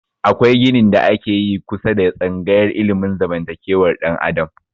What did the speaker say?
Akwai ginin da ake yi kusa da tsangayar ilimin zamantakewar dan adam